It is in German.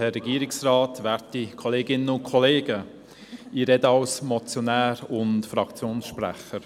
Ich spreche hier als Motionär und Fraktionssprecher.